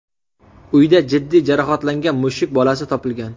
Uyda jiddiy jarohatlangan mushuk bolasi topilgan.